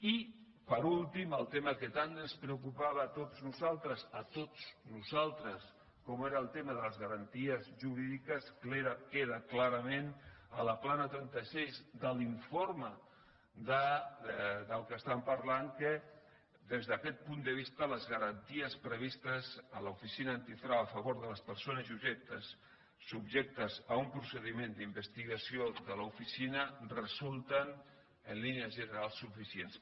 i per últim el tema que tant ens preocupava a tots nosaltres a tots nosaltres com era el tema de les garanties jurídiques que era clarament a la pla na trenta sis de l’informe de què estem parlant que des d’aquest punt de vista les garanties previstes a l’oficina antifrau a favor de les persones subjectes a un procediment d’investigació de l’oficina resulten en línies generals suficients